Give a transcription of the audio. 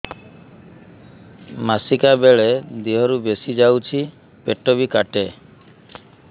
ମାସିକା ବେଳେ ଦିହରୁ ବେଶି ଯାଉଛି ପେଟ ବି କାଟେ